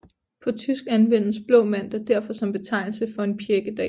På tysk anvendes blå mandag derfor som betegnelse for en pjækkedag